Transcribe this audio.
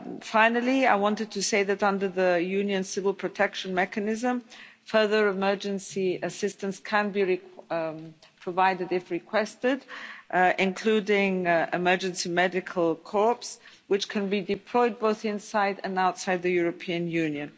Finally, I wanted to say that, under the Union Civil Protection Mechanism, further emergency assistance can be provided if requested, including emergency medical corps, which can be deployed both inside and outside the European Union.